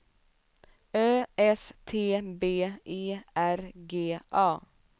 Ö S T B E R G A